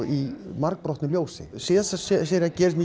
í margbrotnu ljósi síðasta sería gerðist